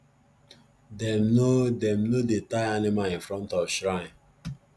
dem no dem no dey tie animal in front of shrine